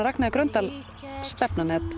Ragnheiðar Gröndal stefnan